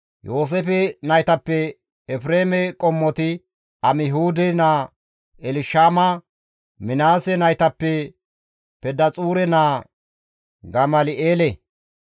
Yooseefe naytappe Efreeme qommoti Amihuude naa Elshama Minaase naytappe Pedaxuure naa Gamal7eele,